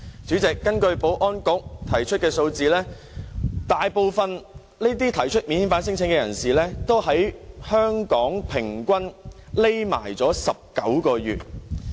主席，根據保安局的數字，大部分提出免遣返聲請的人士在香港平均躲藏19個月。